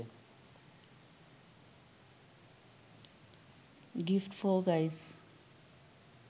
gifts for guys